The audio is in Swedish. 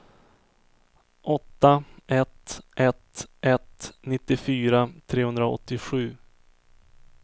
åtta ett ett ett nittiofyra trehundraåttiosju